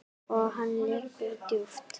Og hann liggur djúpt